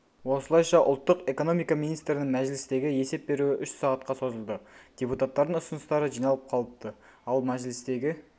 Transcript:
осылайша ұлттық экономика министрінің мәжілістегі есеп беруі үш сағатқа созылды депуттардың ұсыныстары жиналып қалыпты ал мәжілістегі